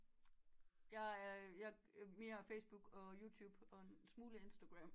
Jeg er mere Facebook og Youtube og en smule Instagram